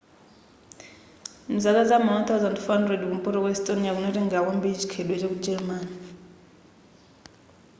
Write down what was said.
mzaka za ma 1400 kumpoto kwa estonia kunatengela kwambiri chikhalidwe cha ku gelemani